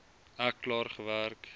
ek klaar gewerk